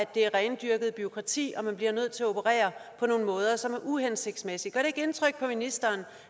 det er rendyrket bureaukrati og man bliver nødt til at operere på nogle måder som er uhensigtsmæssige gør det ikke indtryk på ministeren